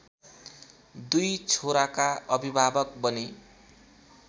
दुई छोराका अभिभावक बने।